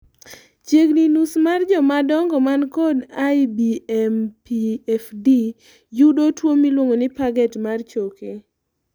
chiegni nus mar jomadongo man kod IBMPFD yudo tuo moluongo ni Paget mar choke